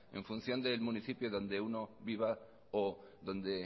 en función del municipio donde uno viva o donde